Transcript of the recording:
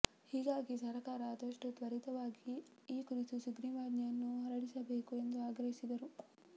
ಹೀಗಾಗಿ ಸರಕಾರ ಆದಷ್ಟು ತ್ವರಿತವಾಗಿ ಈ ಕುರಿತು ಸುಗ್ರೀವಾಜ್ಞೆಯನ್ನು ಹೊರಡಿಸಬೇಕು ಎಂದು ಆಗ್ರಹಿಸಿದರು